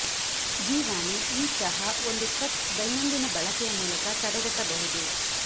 ಜೀವಾಣು ಈ ಚಹಾ ಒಂದು ಕಪ್ ದೈನಂದಿನ ಬಳಕೆಯ ಮೂಲಕ ತಡೆಗಟ್ಟಬಹುದು